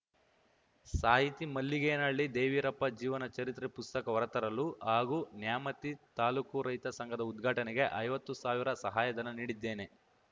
ಸಾಹಿತಿ ಮಲ್ಲಿಗೇನಹಳ್ಳಿ ದೇವೀರಪ್ಪ ಜೀವನ ಚರಿತ್ರೆ ಪುಸ್ತಕ ಹೊರತರಲು ಹಾಗೂ ನ್ಯಾಮತಿ ತಾಲೂಕು ರೈತ ಸಂಘದ ಉದ್ಘಾಟನೆಗೆ ಐವತ್ತು ಸಾವಿರ ಸಹಾಯಧನ ನೀಡಿದ್ದೇನೆ